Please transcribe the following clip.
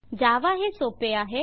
जावा हे सोपे आहे